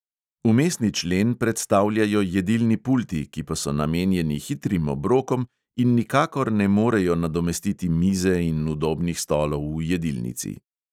Vmesni člen predstavljajo jedilni pulti, ki pa so namenjeni hitrim obrokom in nikakor ne morejo nadomestiti mize in udobnih stolov v jedilnici.